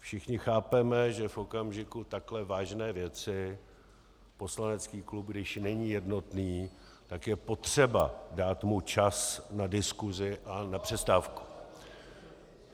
Všichni chápeme, že v okamžiku takhle vážné věci poslanecký klub, když není jednotný, tak je potřeba dát mu čas na diskusi a na přestávku.